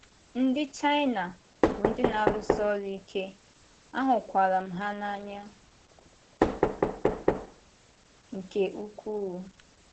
Ndị́ Chinà bụ ndị́ na-arụ́si ọrụ́ ike, ahụ́kwara m ha n’anyá nke ukwuu.